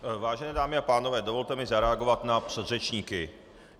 Vážené dámy a pánové, dovolte mi zareagovat na předřečníky.